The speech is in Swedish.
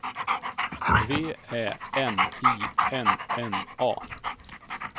V Ä N I N N A